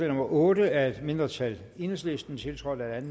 nummer otte af et mindretal enhedslisten tiltrådt af et